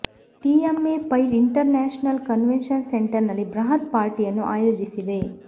TMA Pai international convention centre ನಲ್ಲಿ ಬೃಹತ್ ಪಾರ್ಟಿಯನ್ನು ಆಯೋಜಿಸಿದೆ